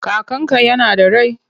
Kakanka yana da rai?